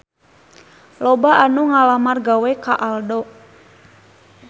Loba anu ngalamar gawe ka Aldo